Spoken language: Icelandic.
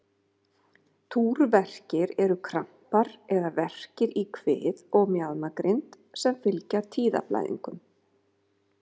Túrverkir eru krampar eða verkir í kvið og mjaðmagrind sem fylgja tíðablæðingum.